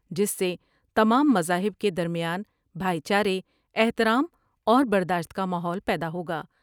جس سے تمام مذاہب کے درمیان بھائی چارے ، احترام اور برداشت کا ماحول پیدا ہوگا ۔